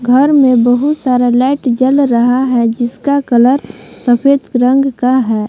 घर में बहुत सारा लाइट जल रहा है जिसका कलर सफेद रंग का है।